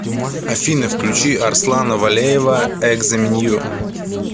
афина включи арслана валеева экзо менью